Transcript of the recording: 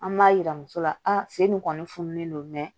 An b'a yira muso la a sen nin kɔni fununen don